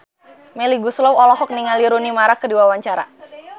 Melly Goeslaw olohok ningali Rooney Mara keur diwawancara